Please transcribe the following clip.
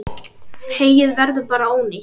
Heyið verður bara ónýtt.